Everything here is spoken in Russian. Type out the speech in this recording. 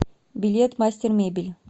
билет мастер мебель